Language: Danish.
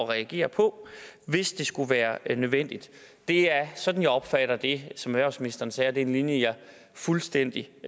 reagere på hvis det skulle være nødvendigt det er sådan jeg opfatter det som erhvervsministeren sagde og det er en linje jeg fuldstændig